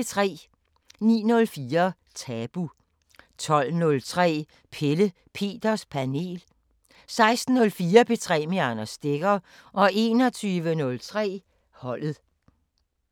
09:04: Tabu 12:03: Pelle Peters Panel 16:04: P3 med Anders Stegger 21:03: Holdet